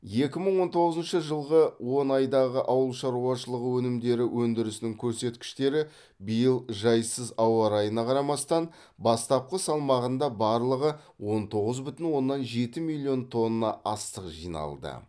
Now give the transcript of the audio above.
екі мың он тоғызыншы жылғы он айдағы ауыл шаруашылығы өнімдері өндірісінің көрсеткіштері биыл жайсыз ауа райына қарамастан бастапқы салмағында барлығы он оғыз бүтін оннан жеті миллион тонна астық жиналды